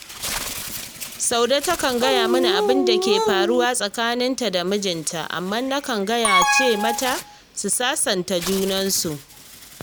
Saude takan gaya mani abin da yake faruwa tsakaninta da mijinta, amma nakan gaya ce mata su sasanta junansu